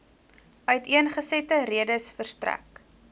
uiteengesette redes verstrek